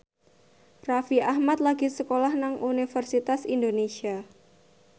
Raffi Ahmad lagi sekolah nang Universitas Indonesia